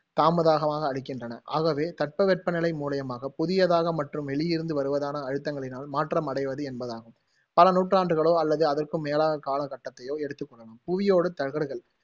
தாமதாகமாக அளிக்கின்றன. ஆகவே, தட்ப வெப்பநிலை மூலியமாக புதியதாக மற்றும் வெளியிருந்து வருவதான அழுத்தங்களினால் மாற்றம் அடைவது என்பதாகும், பல நூற்றாண்டுகளோ அல்லது அதற்கும் மேலான கால கட்டத்தையோ எடுத்துக் கொள்ளலாம். புவியோடுத் தகடுகள்